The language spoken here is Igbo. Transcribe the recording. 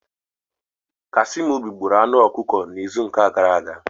Kasiemobi gburu anụ ọkụkọ n'izu ụka gara aga.